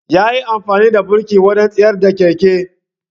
ya yi amfani da burki wajen tsayar da keken.